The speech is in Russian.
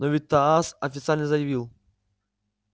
но ведь тасс официально заявил